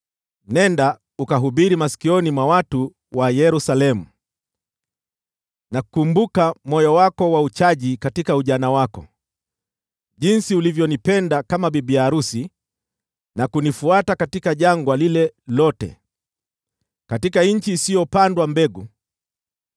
“Nenda ukahubiri masikioni mwa watu wa Yerusalemu: “ ‘Nakumbuka moyo wako wa uchaji katika ujana wako, jinsi ulivyonipenda kama bibi arusi na kunifuata katika jangwa lile lote, katika nchi isiyopandwa mbegu.